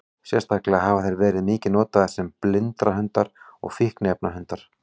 Sérstaklega hafa þeir verið mikið notaðir sem blindrahundar og fíkniefnahundar.